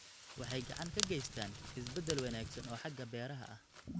Waxay gacan ka geystaan ??isbeddel wanaagsan oo xagga beeraha ah.